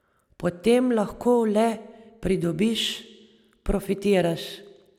Potem lahko le pridobiš, profitiraš.